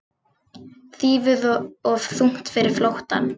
Þýfið of þungt fyrir flóttann